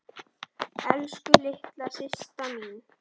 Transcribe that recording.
Elsku litla systa mín.